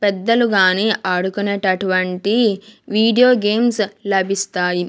పెద్దలు గాని ఆడుకునేటటువంటి వీడియో గేమ్స్ లభిస్తాయి.